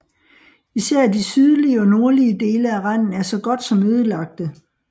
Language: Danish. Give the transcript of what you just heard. Især de sydlige og nordlige dele af randen er så godt som ødelagte